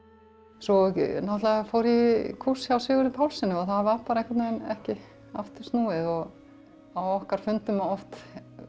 svo náttúrulega fór ég í kúrs hjá Sigurði Pálssyni og það var bara einhvern veginn ekki aftur snúið á okkar fundum oft